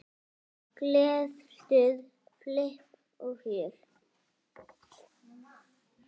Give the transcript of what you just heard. Gleði, stuð, flipp og fjör.